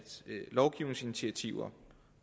lovgivningsinitiativer